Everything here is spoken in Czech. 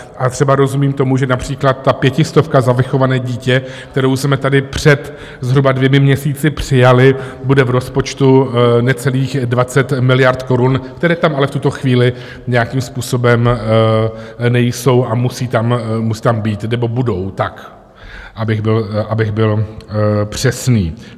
A třeba rozumím tomu, že například ta pětistovka za vychované dítě, kterou jsme tady před zhruba dvěma měsíci přijali, bude v rozpočtu necelých 20 miliard korun, které tam ale v tuto chvíli nějakým způsobem nejsou a musí tam být nebo budou, abych byl přesný.